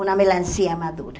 Uma melancia madura.